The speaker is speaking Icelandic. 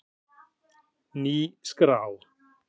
Ný skrá